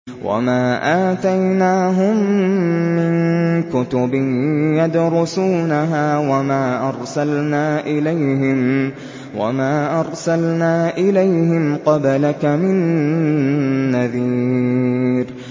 وَمَا آتَيْنَاهُم مِّن كُتُبٍ يَدْرُسُونَهَا ۖ وَمَا أَرْسَلْنَا إِلَيْهِمْ قَبْلَكَ مِن نَّذِيرٍ